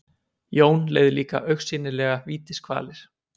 Jón leið líka augsýnilega vítiskvalir.